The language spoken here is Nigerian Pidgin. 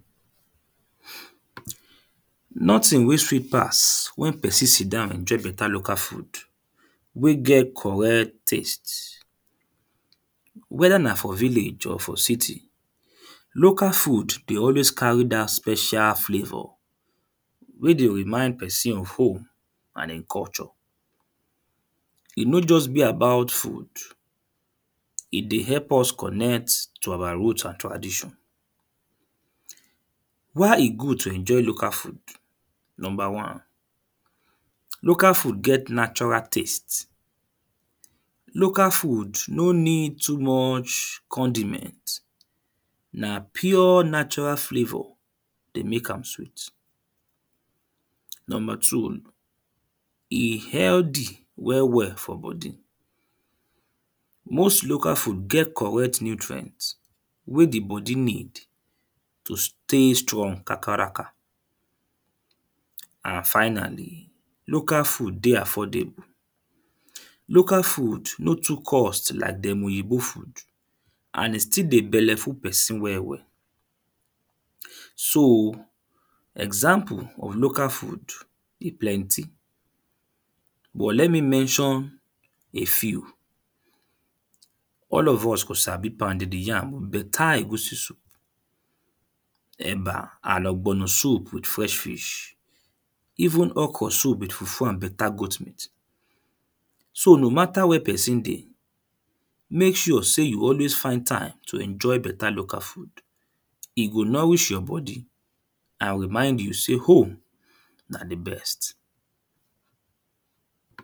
Nothing wey sweet pass when person sit down enjoy better local food wey get correct taste whether na for village or for city. Local food dey always carry dat special flavour wey dey remind person of home and im culture. E no just be about food. E dey help us connect to awa root and tradition. Why e good to enjoy local food? Number one: Local food get natural taste. Local food no need too much condiment. Na pure natural flavour dey make am sweet. Number two: E healthy well well for body. Most local food get correct nutrient wey the body need to stay strong kakaraka. And finally local food dey affordable. Local food no too cost like dem Oyinbo food and e stil dey belle full person well well. so, example of local food e plenty. But let me mention a few. All of us go sabi pounded yam with better egusi soup, eba and ogbono soup with fresh fish. Even okro soup with fufu and better goat meat. So no matter where person dey make sure sey you always find time to enjoy better local food. E go nourish your body and remind you sey home na the best.